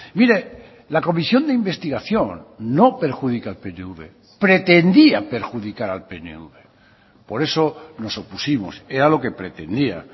mire la comisión de investigación no perjudica al pnv pretendía perjudicar al pnv por eso nos opusimos era lo que pretendía